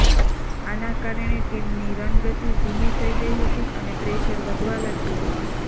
આના કારણે ટીમની રનગતિ ધીમી થઈ ગઈ હતી અને પ્રેશર વધવા લાગ્યું હતું